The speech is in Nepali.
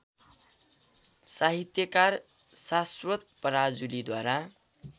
साहित्यकार साश्वत पराजुलीद्वारा